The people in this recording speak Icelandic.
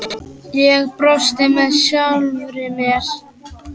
Ég brosti með sjálfri mér.